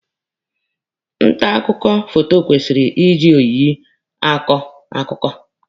Nta akụkọ foto kwesịrị iji oyiyi akọ akụkọ.